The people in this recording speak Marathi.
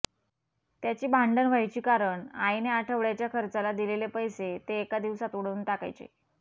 त्यांची भांडण व्हायची कारण आईने आठवड्याच्या खर्चाला दिलेले पैसे ते एका दिवसात उडवून टाकायचे